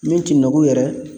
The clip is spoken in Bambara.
Min ti nugu yɛrɛ